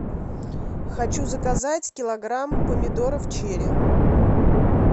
хочу заказать килограмм помидоров черри